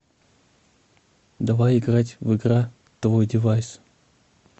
давай играть в игра твойдевайс